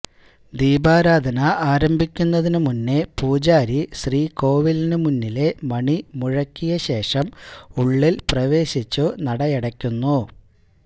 ദീപാരാധന ആരംഭിക്കുന്നതിനു മുന്നേ പൂജാരി ശ്രീകോവിലിനുമുന്നിലെ മണി മുഴക്കിയശേഷം ഉള്ളിൽ പ്രവേശിച്ചു നടയടയ്ക്കുന്നു